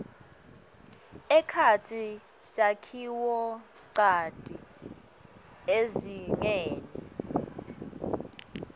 ekhatsi sakhiwonchanti ezingeni